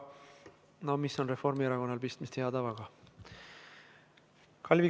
Ja hea tava – no mis on Reformierakonnal pistmist hea tavaga?